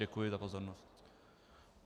Děkuji za pozornost.